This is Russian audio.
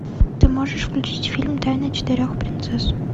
ты можешь включить фильм тайна четырех принцесс